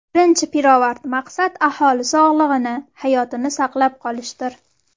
Birinchi pirovard maqsad aholi sog‘lig‘ini, hayotini saqlab qolishdir.